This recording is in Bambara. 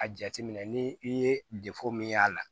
A jateminɛ ni i ye min y'a la